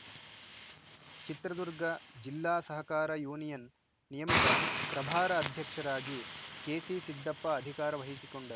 ಚಿತ್ರದುರ್ಗ ಜಿಲ್ಲಾ ಸಹಕಾರ ಯೂನಿಯನ್‌ ನಿಯಮಿತ ಪ್ರಭಾರ ಅಧ್ಯಕ್ಷರಾಗಿ ಕೆಸಿಸಿದ್ದಪ್ಪ ಅಧಿಕಾರ ವಹಿಸಿಕೊಂಡರು